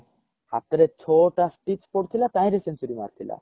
ହାତରେ ଛଅ ଟା stitch ପଡିଥିଲା ତାହିଁ ରେ century ମାରିଥିଲା